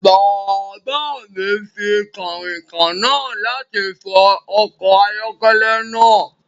Bàbá mi fi kànrìnkàn náà láti fọ ọkọ̀ ayọ́kẹ́lẹ́ náà